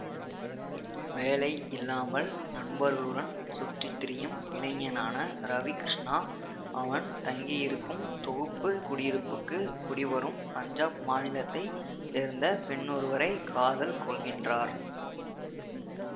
வேலையில்லாமல் நண்பர்களுடன் சுற்றித்திரியும் இளைஞனான ரவி கிருஷ்ணா அவன் தங்கியிருக்கும் தொகுப்பு குடியிருப்புக்கு குடிவரும் பஞ்சாப் மாநிலத்தை சேர்ந்த பெண்ணொருவரைக் காதல் கொள்கின்றார்